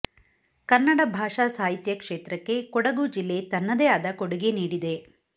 ಕನ್ನಡ ಭಾಷಾ ಸಾಹಿತ್ಯ ಕ್ಷೇತ್ರಕ್ಕೆ ಕೊಡಗು ಜಿಲ್ಲೆ ತನ್ನದೇ ಆದ ಕೊಡುಗೆ ನೀಡಿದೆ